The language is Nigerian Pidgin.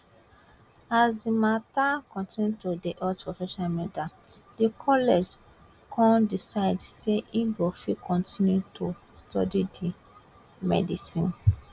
as di mata continue to dey hot for social media di college kon decide say e go fit continue to study di medicine